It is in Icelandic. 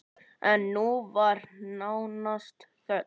En nú var nánast þögn!